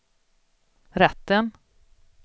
rätten